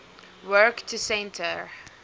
work to centre